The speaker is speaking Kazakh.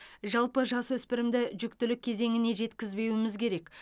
жалпы жасөспірімді жүктілік кезеңіне жеткізбеуіміз керек